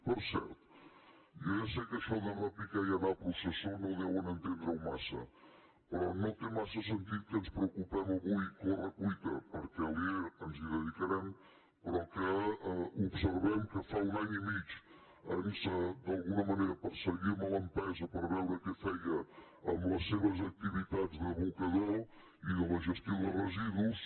per cert jo ja sé que això de repicar i anar a processó no deuen entendre ho massa però no té massa sentit que ens preocupem avui a corre cuita perquè a alier ens hi dedicarem però que observem que fa un any i mig d’alguna manera perseguíem l’empresa per veure què feia amb les seves activitats d’abocador i de la gestió de residus